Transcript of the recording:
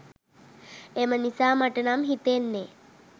එම නිසා මට නම් හිතෙන්නේ